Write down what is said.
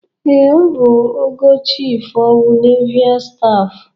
Ee, ọ bụ ogo Chịf ọf Neival Staf.